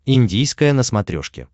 индийское на смотрешке